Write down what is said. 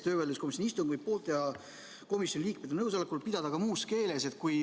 Töövaidluskomisjoni istungi võib poolte ja komisjoni liikmete nõusolekul pidada ka muus keeles.